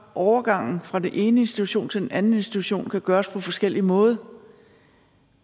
overgangen fra den ene institution til den anden institution kan gøres på forskellig måde